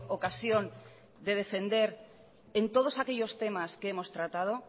ocasión de defender en todos aquellos temas que hemos tratado